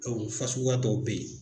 O fasuguya dɔw be ye